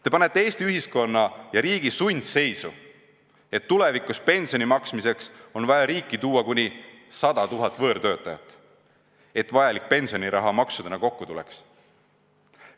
Te panete Eesti ühiskonna ja riigi sundseisu, tulevikus on pensioni maksmiseks vaja riiki tuua kuni 100 000 võõrtöötajat, et vajalik pensioniraha maksudena kokku tuleks.